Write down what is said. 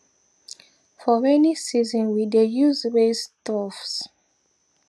for rainy season we dey use raised troughs